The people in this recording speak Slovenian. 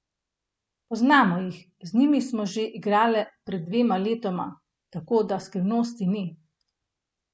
Poznamo jih, z njimi smo že igrale pred dvema letoma, tako da skrivnosti ni.